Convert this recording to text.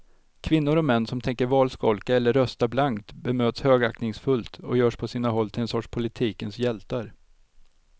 Kvinnor och män som tänker valskolka eller rösta blankt bemöts högaktningsfullt och görs på sina håll till en sorts politikens hjältar.